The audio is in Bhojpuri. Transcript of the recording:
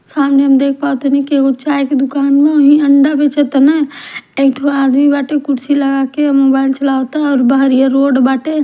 सामने हम देख पावतनी कि एगो चाय के दुकान बा अंडा बेचताने एक ठो आदमी बाटे उ कुर्सी लगा के मोबाइल चलवात बाटे --